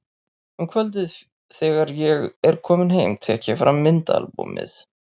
Um kvöldið þegar ég er kominn heim tek ég fram myndaalbúmið.